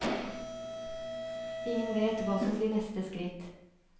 Ingen vet hva som blir neste skritt.